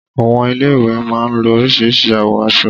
Àwọn ilé ìwé má a ń lo orísìírísìí àwọ̀ aṣọ